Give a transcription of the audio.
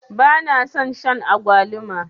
bana son Shan agwaluma